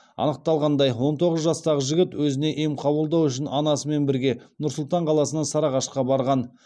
анықталғандай он тоғыз жастағы жігіт өзіне ем қабылдау үшін анасымен бірге нұр сұлтан қаласынан сарыағашқа барған